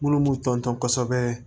Minnu b'u ton ton kosɛbɛ